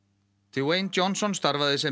dewayne Johnson starfaði sem